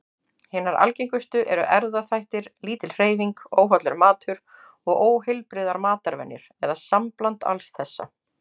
Hinar algengustu eru erfðaþættir, lítil hreyfing, óhollur matur og óheilbrigðar matarvenjur, eða sambland alls þessa.